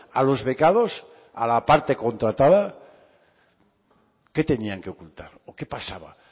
a los becados a la parte contratada qué tenían que ocultar o qué pasaba